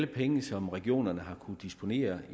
penge som regionerne har kunnet disponere